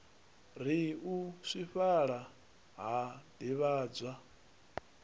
ri u swifhala ha divhadzwa